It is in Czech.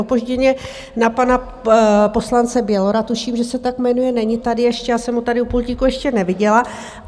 Opožděně na pana poslance Bělora, tuším, že se tak jmenuje, není tady ještě, já jsem ho tady u pultíku ještě neviděla.